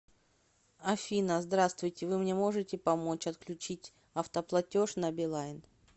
афина здравствуйте вы мне можете помочь отключить автоплатеж на билайн